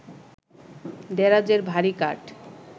দেরাজের ভারি কাঠ